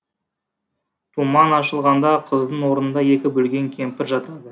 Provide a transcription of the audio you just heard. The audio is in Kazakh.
тұман ашылғанда қыздың орнында екі бөлінген кемпір жатады